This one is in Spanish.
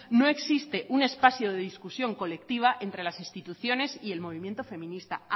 no existe un espacio de discusión colectiva entre las instituciones y el movimiento feminista